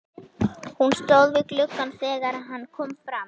Hún stóð við gluggann þegar hann kom fram.